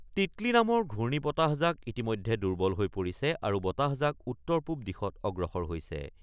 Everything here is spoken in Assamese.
তিতলী নামৰ ঘূৰ্ণি বতাহজাক ইতিমধ্যে দুৰ্বল হৈ পৰিছে আৰু বতাহজাক উত্তৰ-পূব দিশত অগ্ৰসৰ হৈছে।